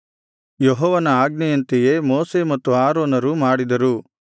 ಯೆಹೋವನ ಆಜ್ಞೆಯಂತೆಯೇ ಮೋಶೆ ಮತ್ತು ಆರೋನರು ಮಾಡಿದರು